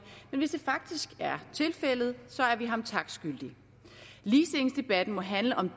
men hvis det faktisk er tilfældet så er vi ham tak skyldig ligestillingsdebatten må handle om